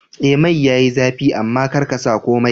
Eh mai yayi zafi amma karka sa komai